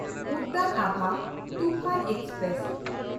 Udyan Abha Toofan express